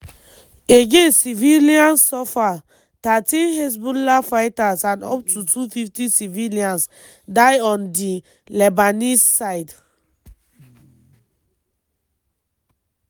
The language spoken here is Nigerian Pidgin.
again civilians suffer - thirteen hezbollah fighters and up to 250 civilians die on di lebanese side.